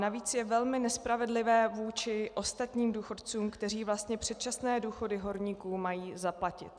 Navíc je velmi nespravedlivé vůči ostatním důchodcům, kteří vlastně předčasné důchody horníků mají zaplatit.